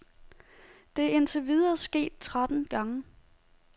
Det er indtil videre sket tretten gange.